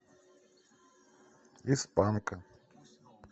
из панка